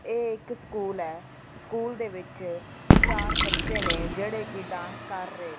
ਇਹ ਇੱਕ ਸਕੂਲ ਹੈ ਸਕੂਲ ਦੇ ਵਿੱਚ ਚਾਰ ਬੱਚੇ ਨੇ ਜਿਹੜੇ ਕਿ ਡਾਂਸ ਕਰ ਰਹੇ ਨੇ।